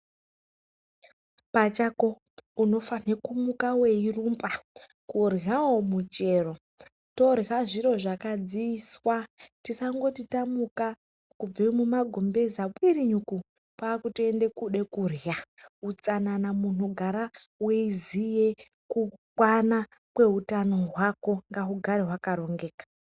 Pachako unofanhe kumuka weirumba, kuryawo michero, torya zviro zvakadziiswa. Tisangoti tamuka kubve mumagumbeza kwirinyuku kwakutoende kude korya, utsanana munhu gara weiziye kukwana kweutano hwako, ngahugare hwakarongeka.